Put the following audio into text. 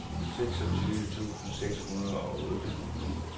seksogtyve tusind seks hundrede og otte